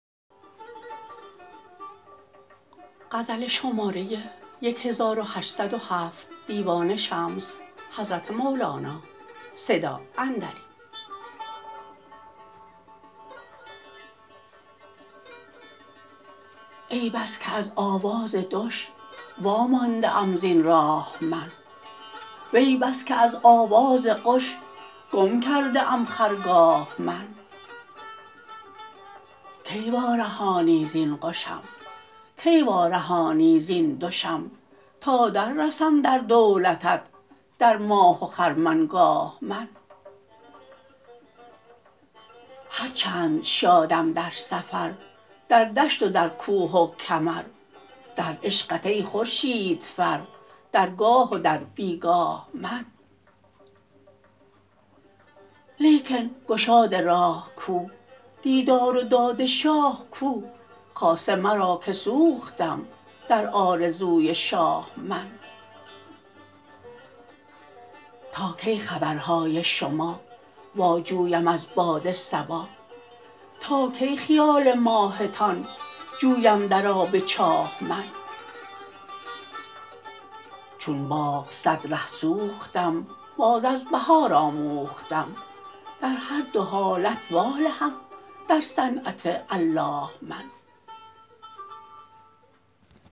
ای بس که از آواز دش وامانده ام زین راه من وی بس که از آواز قش گم کرده ام خرگاه من کی وارهانی زین قشم کی وارهانی زین دشم تا دررسم در دولتت در ماه و خرمنگاه من هر چند شادم در سفر در دشت و در کوه و کمر در عشقت ای خورشیدفر در گاه و در بی گاه من لیکن گشاد راه کو دیدار و داد شاه کو خاصه مرا که سوختم در آرزوی شاه من تا کی خبرهای شما واجویم از باد صبا تا کی خیال ماهتان جویم در آب چاه من چون باغ صد ره سوختم باز از بهار آموختم در هر دو حالت والهم در صنعت الله من